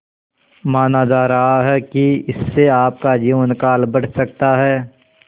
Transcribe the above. माना जा रहा है कि इससे आपका जीवनकाल बढ़ सकता है